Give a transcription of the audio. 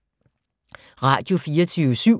Radio24syv